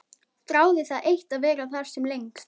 Þráði það eitt að vera þar sem lengst.